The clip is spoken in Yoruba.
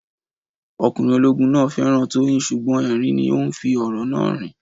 Ọkùnrin ológun náà féràn Tóóyìn sùgbón ẹ̀rín ní òhun fí òrò náà rìn